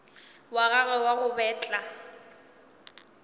wa gagwe wa go betla